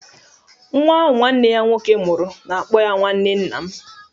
Nwa ahụ nwanne ya nwoke mụrụ na-akpọ ya nwanne nna m.